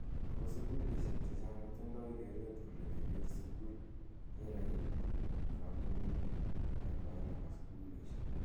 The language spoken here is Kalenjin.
Ako sukulishek che chang kotondoi keret kole koker sukul ye kait kamunget nekoi nebo sukulishek.